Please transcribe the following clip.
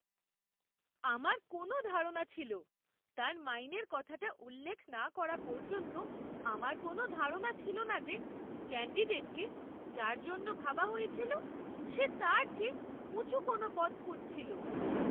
আমার কোনও ধারণা ছিল তার মাইনের কথাটা উল্লেখ না করা পর্যন্ত আমার কোনো ধারণা ছিল না যে, ক্যান্ডিডেটকে যার জন্য ভাবা হয়েছিল সে তার চেয়ে উঁচু কোনও পদ খুঁজছিল!